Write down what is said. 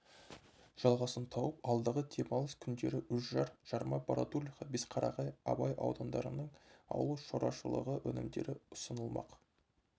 жалғасын тауып алдағы демалыс күндері үржар жарма бородулиха бесқарағай абай аудандарының ауыл шаруашылығы өнімдері ұсынылмақ